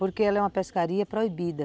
Porque ela é uma pescaria proibida.